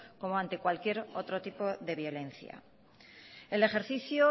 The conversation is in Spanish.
como ante cualquier otro tipo de violencia el ejercicio